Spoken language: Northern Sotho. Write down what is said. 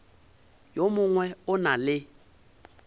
yo mongwe o na le